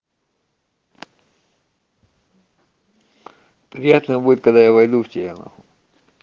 приятно будет когда я войду в тебя на хуй